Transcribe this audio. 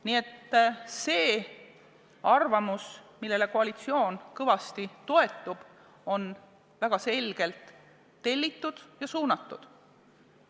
Nii et see arvamus, millele koalitsioon kõvasti toetub, on väga selgelt tellitud ja suunatud.